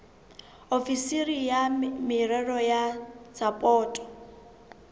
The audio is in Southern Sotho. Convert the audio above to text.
ofisiri ya merero ya sapoto